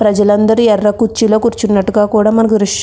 ప్రజలందరూ ఎర్ర కుర్చీలో కూర్చున్నట్టుగా కూడా మనకి దృశ్యం --